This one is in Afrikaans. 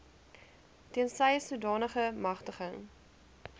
tensy sodanige magtiging